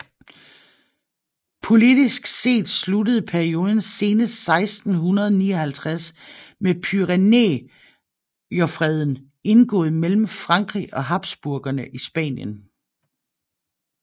Politisk set sluttede perioden senest 1659 med Pyrenæerfreden indgået mellem Frankrig og Habsburgerne i Spanien